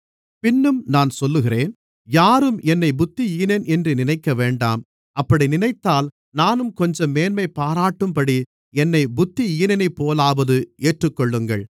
பின்னும் நான் சொல்லுகிறேன் யாரும் என்னைப் புத்தியீனன் என்று நினைக்கவேண்டாம் அப்படி நினைத்தால் நானும் கொஞ்சம் மேன்மைபாராட்டும்படி என்னைப் புத்தியீனனைப்போலாவது ஏற்றுக்கொள்ளுங்கள்